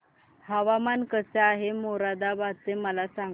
हवामान कसे आहे मोरादाबाद चे मला सांगा